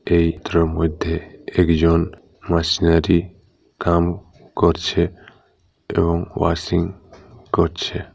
এই চিত্রের মধ্যে একজন মাসনারি কাম করছে এবং ওয়াশিং করছে ।